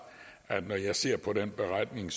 at når jeg ser på den beretning